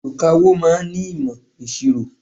Olùkawó ma ń nímọ̀ ìṣirò.